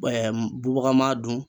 bubaga ma dun.